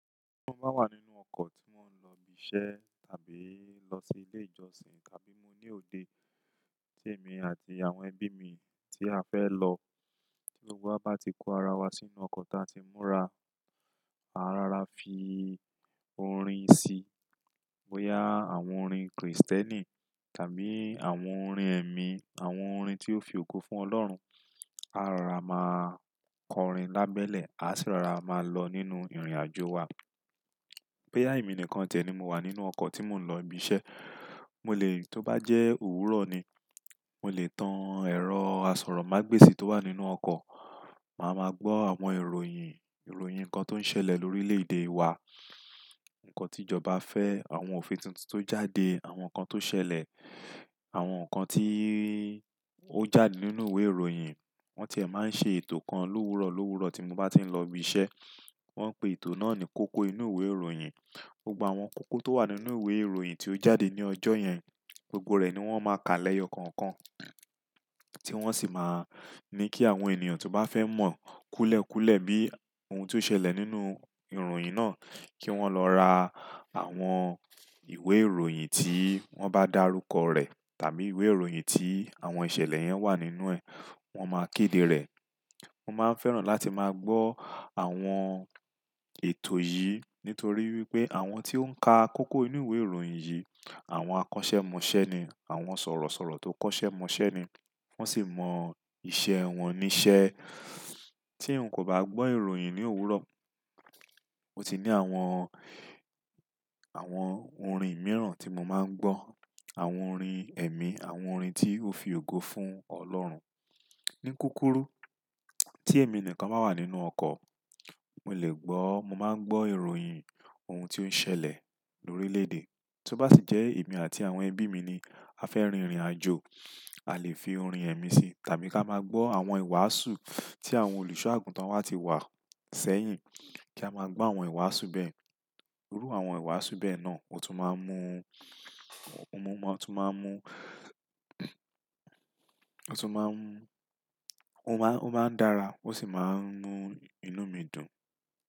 Tí mo bá wà nínú ọkọ̀ tí wọ́n ń lọ ibi iṣẹ́ tàbí lọ sí ilé ìjọsìn tàbí mo ní òde tí èmi àti àwọn ẹbí mi tí a fẹ́ lọ, tí gbogbo wa bá ti kó ara wa sínú ọkọ̀ tí a ti múra, a rara fi orin síi. Boya àwọn orin Krìstẹ́nì tàbí àwọn orin ẹ̀mí, àwọn orin tí ó fi ògo fún Ọlọ́run, a rara máa kọrin lábẹ́lẹ̀, a sì rara máa lọ nínú ìrìnàjò wa. Boya emi nìkan ti e ni mo wà nínú ọkọ̀ tí mò ń lọ ibi iṣẹ́, mo lè tó bá jẹ́ òwúrọ̀ ni, mo lè tan ẹ̀rọ asọ̀rọ̀mágbèsì tó wà nínú ọkọ̀, màá ma gbọ́ àwọn ìròyìn, ìròyìn ǹkan tó ń ṣẹlẹ̀ lórílẹ̀-èdè wa, ǹkan tí ìjọba fẹ́, àwọn òfin tuntun tó jáde, àwọn ǹkan tó ṣẹlẹ̀, àwọn ǹkan tí ó jáde nínú ìwé ìròyìn. Wọ́n ti máa ń ṣe ètò kan l'òwúrò l'òwúrò tí mo bá ti ń lọ ibi iṣẹ́. Wọ́n ń pe ètò náà ní kókó inú ìwé ìròyìn. Gbogbo àwọn kókó tó wà nínú ìwé ìròyìn tí ó jáde ní ọjọ́ yẹn, gbogbo rẹ̀ ni wọ́n máa ka lẹ́yọ kọ̀ọ̀kan, tí wọ́n sì máa ní kí àwọn ènìyàn tó bá fẹ́ mọ̀ kúlẹ̀ kúlẹ̀ bí ohun tí ó ṣẹlẹ̀ nínú ìròyìn náà kí wọ́n lọ ra àwọn ìwé ìròyìn tí wọ́n bá dárúkọ rẹ̀ tàbí ìwé ìròyìn tí àwọn ìṣẹ̀lẹ̀ yẹn wà nínú ẹ̀, wọ́n máa kéde rẹ̀. Mo máa ń fẹ́ràn láti máa gbọ́ àwọn ètò yìí nítorí wípé àwọn tí ó ń ka kókó inú ìwé ìròyìn yìí àwọn akọ́ṣẹ́mọṣẹ́ ni, àwọn sọ̀rọ̀sọ̀rọ̀ tó kọ́ṣẹ́mọṣẹ́ ni, wọ́n sì mọ iṣẹ́ wọn ní iṣẹ́. Tí n kò bá gbọ́ ìròyìn ní òwúrọ̀, mo ti ní àwọn, àwọn orin mìíràn tí mo máa ń gbọ́, àwọn orin ẹ̀mí, àwọn orin tí ó fi ògo fún Ọlọ́run. Ní kúkúrú tí èmi nìkan bá wà nínú ọkọ̀, mo lè gbọ́, mo máa ń gbọ́ ìròyìn ohun tí ó ń ṣẹlẹ̀ lórílẹ̀-èdè. Tó bá sì jẹ́ èmi àti àwọn ẹbí mi ni a fẹ́ rin ìrìnàjò, a lè fi orin ẹ̀mí sí tàbí ká máa gbọ́ àwọn ìwàásù tí àwọn olùṣọ́ àgùntàn wa ti wà sẹ́yìn kí a máa gbọ́ àwọn ìwàásù bẹ́ẹ̀. Lórí àwọn ìwàásù bẹ́ẹ̀ náà, o tún máa ń mú, o tún máa ń mú, o tún máa ń mú, ó máa ń dára ó sì máa ń mú inú mi dùn.